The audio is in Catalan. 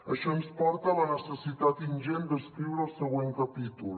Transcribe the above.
això ens porta a la necessitat ingent d’escriure el següent capítol